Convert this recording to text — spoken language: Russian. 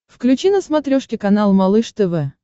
включи на смотрешке канал малыш тв